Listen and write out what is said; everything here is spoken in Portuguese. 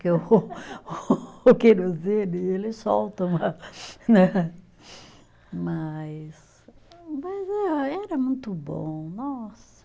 Porque o o querosene, ele solta uma, né, mas, mas era muito bom, nossa.